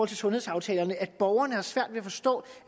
til sundhedsaftalerne at borgerne har svært ved at forstå